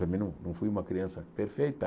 Também não não fui uma criança perfeita.